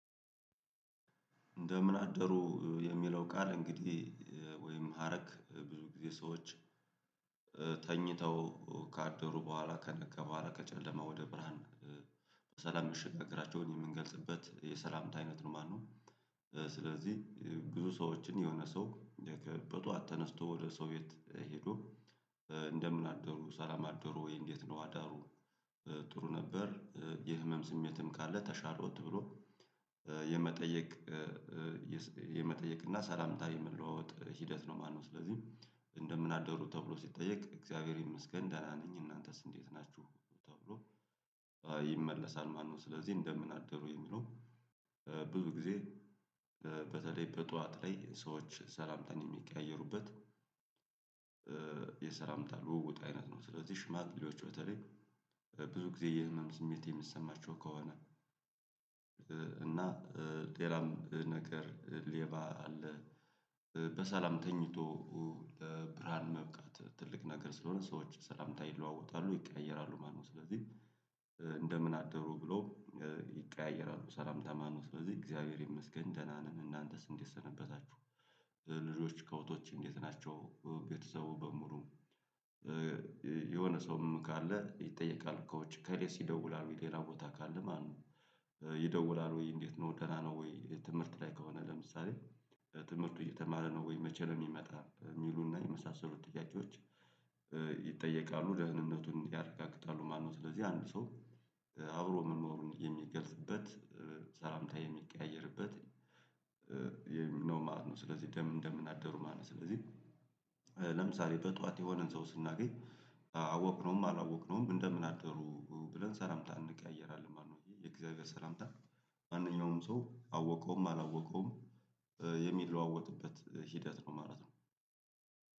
እንደምን አደሩ የሚለው ቃል እንግዲህ ወይም ሀረግ ብዙ ጊዜ ሰዎች ተኝተው ካደሩ በኋላ ከነጋ በኋላ ከጨለማ ወደ ብርሃን በሰላም ምሽት ፍቅራቸውን የምንገልጽበት የሰላምታ አይነት ነው። ማነው እ ስለዚህ እ ብዙ ሰዎችን የሆነ ሰው እ በጧት ተነስቶ ወደ ሰው ቤት ሄዶ እ እንደምን አደሩ ሰላም አደሩ ወይ እንዴት ነው አዳሩ? እ ጥሩ ነበር እ የህመም ስሜትም ካለ ተሻለወት ብሎ እ የመጠየቅ እ እ የስ የመጠየቅ እና ሰላምታ የመለዋወጥ ሂደት ነው ማለት ነው። ስለዚህ እንደምን አደሩ ተብሎ ሲጠየቅ እግዚአብሔር ይመስገን ደህና ነኝ እናንተስ እንዴት ናችሁ? ተብሎ እይ ይመለሳል። ማነው ስለዚህ እንደምን አደሩ የሚለው እ ብዙ ጊዜ እ በተለይ በጧት ላይ ሰዎች ሰላምታን የሚቀያየሩበት እ የሰላምታ ልውውጥ አይነት ነው። ስለዚህ ሽማግሌዎች በተለይ እ ብዙ ጊዜ የህመም ስሜት የሚሰማቸው ከሆነ እ እና እ ጤናም ነገር ሌባ አለ እ በሰላም ተኝቶ ኡ እ ለብርሃን መብቃት ትልቅ ነገር ስለሆነ ሰዎች ሰላምታ ይለዋወጣሉ ይቀያየራሉ ማለት ነው። ስለዚህ እ እንደምን አደሩ ብሎ እ ይቀያየራሉ ሰላምታ ማለት ነው። ስለዚህ እግዚአብሔር ይመስገን ደህና ነን እናንተስ እንዴት ሰነበታችሁ? እ ልጆች ከብቶች እንዴት ናቸው ቤተሰቡ በሙሉ እ የሆነ ሰውም ካለ ይጠየቃል። ከውጭ ከዴሲ ይደውላል ሌላ ቦታ ካለ ማለት ነው። ይደውላል ወይ እንዴት ነው ደህና ነው? ወይ ትምህርት ላይ ከሆነ ለምሳሌ እ ትምህርቱ እየተማረ ነው ወይ መቼ ነው? የሚመጣ የሚሉና የመሳሰሉ ጥያቄዎች እ ይጠየቃሉ። ደህንነቱን ያረጋግጣ፤ ማነው ስለዚህ አንድ ሰው አብሮ መኖሩን የሚገልጽበት ሰላምታ የሚቀያየርበት፤ ነው ማለት ነው። ስለዚህ እንደምናደሩ ማለት ነው። ስለዚህ ለምሳሌ በጧት የሆነን ሰው ስናገኝ አወቅነውም አላወቅነውም እንደምን አደሩ ብለን ሰላምታ እንቀያየራለን ማለት ነው። ይህ የእግዚአብሔር ሰላምታ ማንኛውም ሰው አወቀውም አላወቀውም የሚለዋወጥበት ሂደት ነው ማለት ነው።